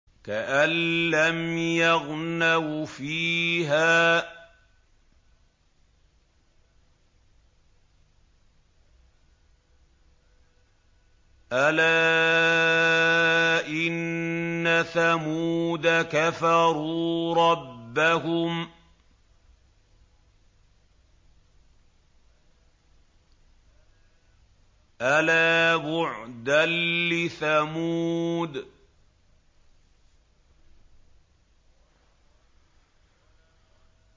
كَأَن لَّمْ يَغْنَوْا فِيهَا ۗ أَلَا إِنَّ ثَمُودَ كَفَرُوا رَبَّهُمْ ۗ أَلَا بُعْدًا لِّثَمُودَ